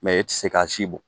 i tɛ se k'a si bɔ